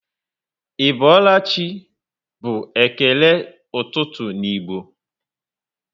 i boola chị by ekene ụtụtụ n'igbo